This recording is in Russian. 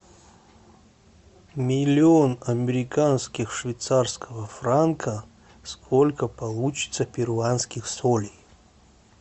миллион американских швейцарского франка сколько получится перуанских солей